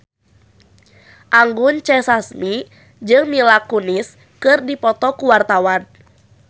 Anggun C. Sasmi jeung Mila Kunis keur dipoto ku wartawan